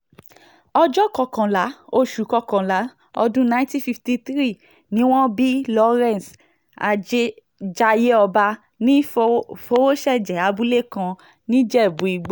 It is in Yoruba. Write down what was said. ọjọ́ kọkànlá oṣù kọkànlá ọdún nineteen fifty three ni wọ́n bí lawrence jaiyeọba ní fọwọ́ṣẹ́jẹ abúlé kan nìjẹ́bú-ìgbò